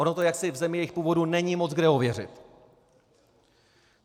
Ono to jaksi v zemi jejich původu není moc kde ověřit.